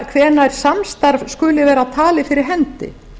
hvenær samstarf skuli vera talið fyrir hendi